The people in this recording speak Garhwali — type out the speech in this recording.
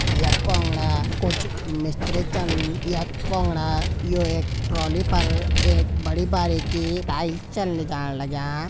यख पुंगड़ा कुछ मिस्त्री छन यख पुंगड़ा यु एक ट्रोल्ली पर एक बड़ी बारिकी टाइल्स छन लिजाण लग्यां।